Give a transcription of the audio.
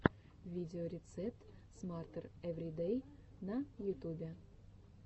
видеорецепт смартер эври дэй на ютюбе